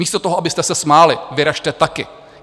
Místo toho, abyste se smáli, vyrazte taky.